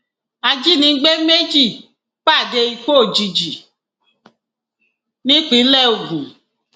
ajínigbé méjì pàdé ikú òjijì nípínlẹ ogun